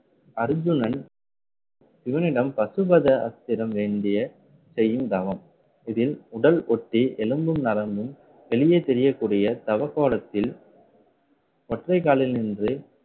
அர்ஜுனன், சிவனிடம் பசுபத ஆஸ்திரம் வேண்டிய செய்யும் தவம். இதில் உடல் ஒட்டி எலும்பும் நரம்பும் வெளியே தெரியக்கூடிய தவ கோலத்தில் ஓற்றைக்காலில் நின்று